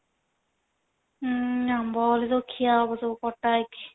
ହୁଁ ଆମ୍ବ ହେଲେ ତ ଖିଆ ହବ ସବୁ କଟା ହେଇକି